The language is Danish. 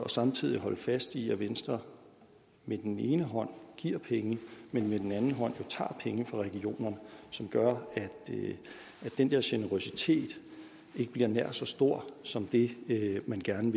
samtidig at holde fast i at venstre med den ene hånd giver penge men med den anden hånd tager penge fra regionerne som gør at den der generøsitet ikke bliver nær så stor som det man gerne